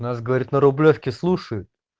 у нас говорит на рублёвке слушаю